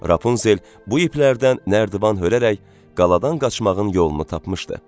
Rapunzel bu iplərdən nərdivan hörərək qaladan qaçmağın yolunu tapmışdı.